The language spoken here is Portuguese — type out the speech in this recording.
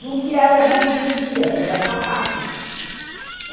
Do que ela já entendia, que era sapato.